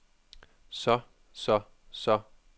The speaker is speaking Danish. så så så